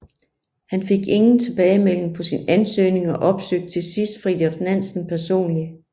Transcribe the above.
Han fik ingen tilbagemelding på sin ansøgning og opsøgte til sidst Fridtjof Nansen personlig